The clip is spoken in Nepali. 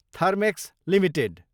Thermax Ltd